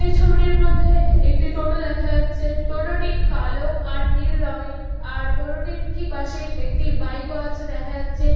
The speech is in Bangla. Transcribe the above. এই ছবিটির মধ্যে একটি টোটো দেখা যাচ্ছে। টোটোটি কালো আর নীল রঙের আর টোটোটির ঠিক পাশেই একটি বাইক ও আছে দেখা যাচ্ছে।